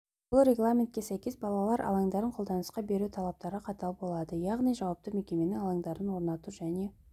бұл регламентке сәйкес балалар алаңдарын қолданысқа беру талаптары қатал болады яғни жауапты мекеменің алаңдарды орнату және